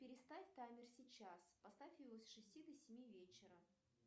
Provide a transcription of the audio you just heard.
переставь таймер сейчас поставь его с шести до семи вечера